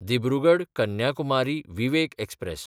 दिब्रुगड–कन्याकुमारी Vivek express